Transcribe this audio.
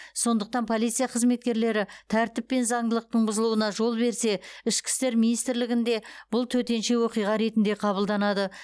сондықтан полиция қызметкерлері тәртіп пен заңдылықтың бұзылуына жол берсе ішкі істер министрлігінде бұл төтенше оқиға ретінде қабылданады